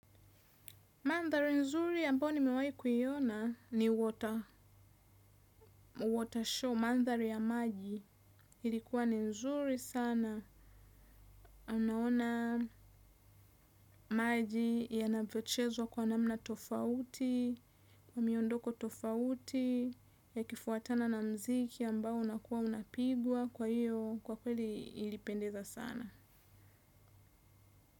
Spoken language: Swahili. Mandhari nzuri ya ambao nimewai kuiona ni water, water show, mandhari ya maji. Ilikuwa ni nzuri sana. Unaona maji yavyochezwa kwa namna tofauti, kwa miondoko tofauti, yakifuatana na mziki ambao unakuwa unapigwa. Kwa hiyo, kwa kweli ilipendeza sana.